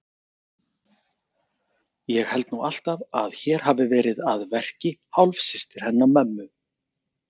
Ég held nú alltaf að hér hafi verið að verki hálfsystir hennar mömmu.